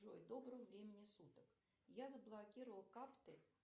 джой доброго времени суток я заблокировала карты